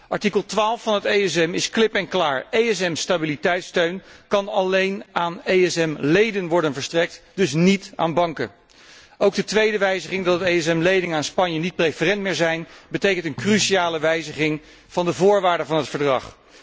Artikel 12 van het ESM is klip en klaar ESM stabiliteitssteun kan alleen aan ESM leden worden verstrekt, dus niet aan banken. Ook de tweede wijziging, die inhoudt dat de ESM leningen aan Spanje niet preferent meer zijn, betekent een cruciale wijziging van de voorwaarden van het verdrag.